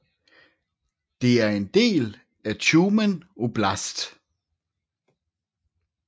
Det er en del af Tjumen oblast